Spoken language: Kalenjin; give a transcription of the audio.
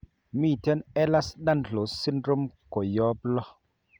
Miten Ehlers Danlos syndrome koyop loo